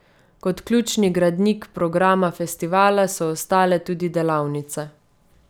Kot ključni gradnik programa festivala so ostale tudi delavnice.